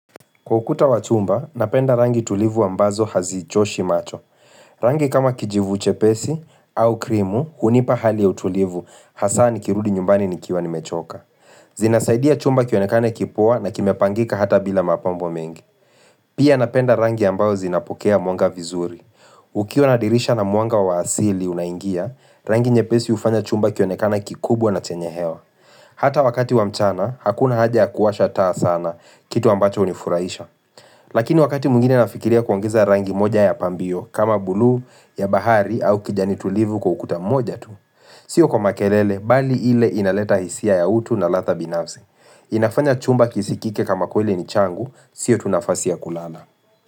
Kwa ukuta wa chumba, napenda rangi tulivu ambazo hazichoshi macho. Rangi kama kijivu chepesi au krimu hunipa hali ya utulivu hasa nikirudi nyumbani nikiwa nimechoka. Zinasaidia chumba kionekane kipoa na kimepangika hata bila mapambo mengi. Pia napenda rangi ambazo zinapokea mwanga vizuri. Ukiwa na dirisha na mwanga wa asili unaingia, rangi nyepesi hufanya chumba kionekane kikubwa na chenye hewa. Hata wakati wa mchana, hakuna haja ya kuwasha taa sana kitu ambacho hunifuraisha. Lakini wakati mwngine nafikiria kuongeza rangi moja ya pambio kama buluu ya bahari au kijani tulivu kwa ukuta mmoja tu Sio kwa makelele, bali ile inaleta hisia ya utu na ladha binafze inafanya chumba kisikike kama kweli ni changu, sio tu nafasi ya kulala.